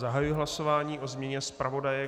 Zahajuji hlasování o změně zpravodaje.